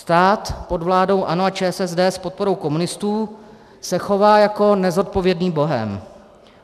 Stát pod vládou ANO, ČSSD a s podporou komunistů se chová jako nezodpovědný bohém.